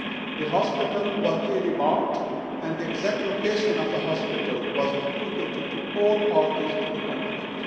The hospital was clearly marked and the exact location of the hospital was communicated to all parties to the conflict.